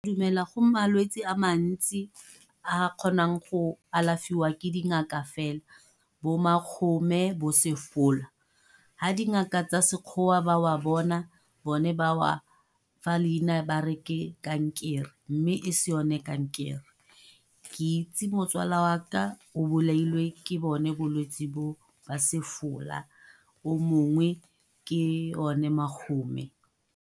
Ke dumela go malwetsi a mantsi a a kgonang go alafiwa ke dingaka fela bo bo ha dingaka tsa Sekgowa ba bone ba fa leina ba re ke kankere, mme e se yone kankere ke itse motswala waka a bolailwe ke bone bolwetsi bo o mongwe ke o ne .